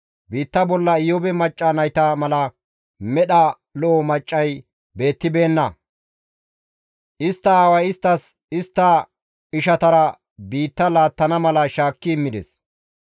Biitta bolla Iyoobe macca nayta mala medha lo7o maccay beettibeenna. Istta aaway isttas istta ishatara biitta laattana mala shaakki immides.